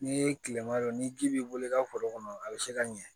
N'i ye tilema don ni ji b'i bolo i ka foro kɔnɔ a bɛ se ka ɲɛ